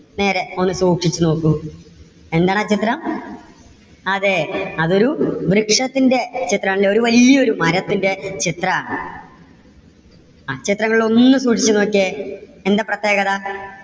നേരെ ഒന്ന് സൂക്ഷിച്ചു നോക്കൂ. എന്താണ് ആ ചിത്രം? അതെ, അത് ഒരു വൃക്ഷത്തിന്റെ ചിത്രം ആണല്ലേ. ഒരു വല്യ ഒരു മരത്തിന്റെ ചിത്രാണ് ആ ചിത്രം നിങ്ങൾ ഒന്ന് സൂക്ഷിച്ച് നോക്കിയേ എന്താ പ്രത്യേകത?